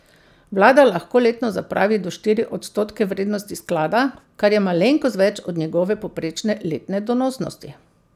Vlada lahko letno zapravi do štiri odstotke vrednosti sklada, kar je malenkost več od njegove povprečne letne donosnosti.